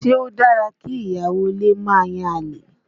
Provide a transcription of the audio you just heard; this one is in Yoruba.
Ṣé o dára kí ìyàwó ilé ó máa yan àlè?